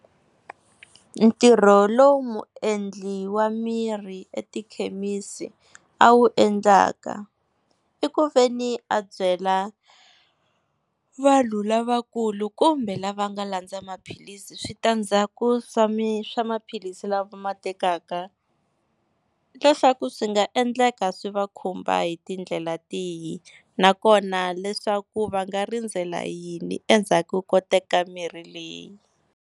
Ntirho lowu muendli wa mirhi etikhemisi a wu endlaka, i ku veni a byela vanhu lavakulu kumbe lava nga landza maphilisi switandzhaku swa swa maphilisi la va ma tekaka, leswaku swi nga endleka swi va khumba hi tindlela tihi nakona leswaku va nga rindzela yini endzhaku ko teka mirhi leyi.